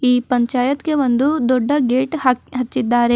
ಈ ಪಂಚಾಯತ್ಗೆ ಒಂದು ದೊಡ್ಡ ಗೇಟ್ ಹಾಕ್ ಹಚ್ಚಿದ್ದಾರೆ.